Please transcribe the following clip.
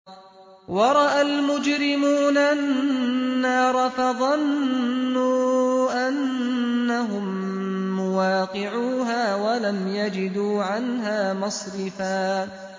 وَرَأَى الْمُجْرِمُونَ النَّارَ فَظَنُّوا أَنَّهُم مُّوَاقِعُوهَا وَلَمْ يَجِدُوا عَنْهَا مَصْرِفًا